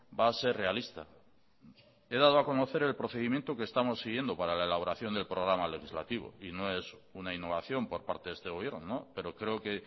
va a ser realista he dado a conocer el procedimiento que estamos siguiendo para la elaboración del programa legislativo y no es una innovación por parte de este gobierno pero creo que